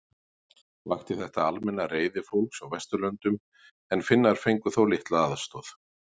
Vakti þetta almenna reiði fólks á Vesturlöndum en Finnar fengu þó litla aðstoð.